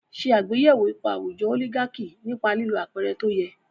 Ṣe àgbéyẹ̀wò ipa àwùjọ oligaki nípa lílo àpẹẹrẹ tó yẹ.